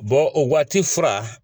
Bon o waati fura